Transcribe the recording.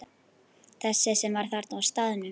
Þessi sem var þarna á staðnum?